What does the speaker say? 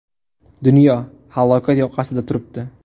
Dunyo – halokat yoqasida turibdi.